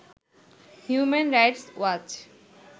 human Rights watch